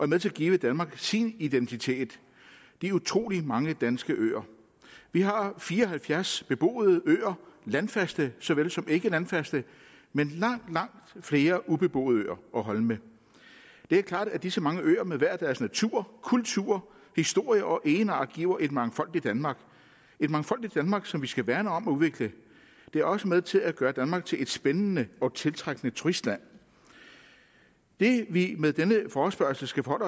med til at give danmark sin identitet de utrolig mange danske øer vi har fire og halvfjerds beboede øer landfaste såvel som ikkelandfaste men langt langt flere ubeboede øer og holme det er klart at disse mange øre med hver deres natur kultur historie og egenart giver et mangfoldigt danmark et mangfoldigt danmark som vi skal værne om og udvikle det er også med til at gøre danmark til et spændende og tiltrækkende turistland det vi med denne forespørgselsdebat